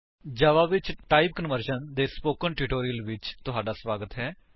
ਜਾਵਾ ਵਿੱਚ type conversion ਦੇ spoken tutorial ਵਿੱਚ ਤੁਹਾਡਾ ਸਵਾਗਤ ਹੈ